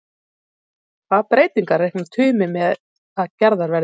Hvaða breytingar reiknar Tumi með að gerðar verði?